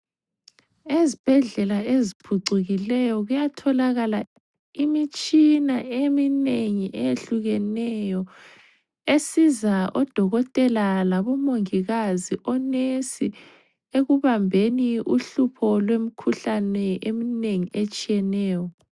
Ezibhedlela eziphucikileyo kuyatholakala imitshina eminengi eyehlukeneyo esiza odokotela labo mongikazi, onesi ekubambeni uhlupho lwemikhuhlane eminengi etshiyeneyo.